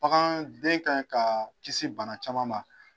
Baganden ka ɲi ka kisi bana caman ma.